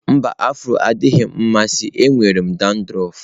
Mba, afro adịghị m amasị m nwere dandruff